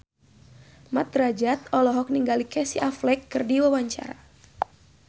Mat Drajat olohok ningali Casey Affleck keur diwawancara